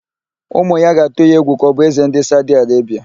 Ụmụ ya ga-atụ ya egwu ka ọ bụ Ézē ndị Saudi Arebia.